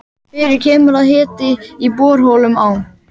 Fyrir kemur og að hiti í borholum á